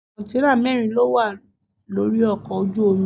Kọ̀ǹténà mẹ́rin lówà lórí ọkọ̀ ojú omi.